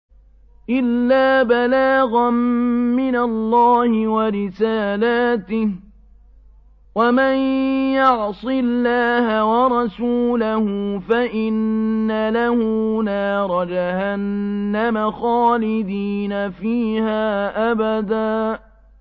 إِلَّا بَلَاغًا مِّنَ اللَّهِ وَرِسَالَاتِهِ ۚ وَمَن يَعْصِ اللَّهَ وَرَسُولَهُ فَإِنَّ لَهُ نَارَ جَهَنَّمَ خَالِدِينَ فِيهَا أَبَدًا